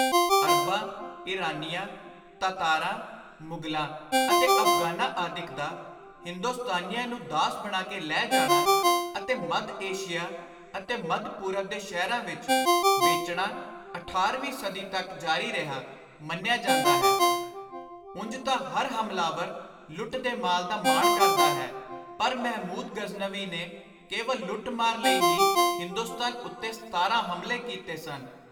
ਅਰਬਾਂ, ਈਰਾਨੀਆਂ, ਤਾਤਾਰਾਂ, ਮੁਗਲਾਂ ਅਤੇ ਅਫ਼ਗ਼ਾਨਾਂ ਆਦਿਕ ਦਾ ਹਿੰਦੁਸਤਾਨੀਆਂ ਨੂੰ ਦਾਸ ਬਣਾ ਕੇ ਲੈ ਜਾਣਾ ਅਤੇ ਮੱਧ-ਏਸ਼ੀਆ ਅਤੇ ਮੱਧ-ਪੂਰਬ ਦੇ ਸ਼ਹਿਰਾਂ ਵਿਚ ਵੇਚਣਾ ਅਠਾਰ੍ਹਵੀਂ ਸਦੀ ਤਕ ਜਾਰੀ ਰਿਹਾ ਮੰਨਿਆ ਜਾਂਦਾ ਹੈ। ਉਂਞ ਤਾਂ ਹਰ ਹਮਲਾਵਰ ਲੁੱਟ ਦੇ ਮਾਲ ਦਾ ਮਾਣ ਕਰਦਾ ਹੈ ਪਰ ਮਹਿਮੁਦ ਗ਼ਜ਼ਨਵੀ ਨੇ ਕੇਵਲ ਲੁੱਟ-ਮਾਰ ਲਈ ਹੀ ਹਿੰਦੁਸਤਾਨ ਉੱਤੇ ਸਤਾਰਾਂ ਹਮਲੇ ਕੀਤੇ ਸਨ।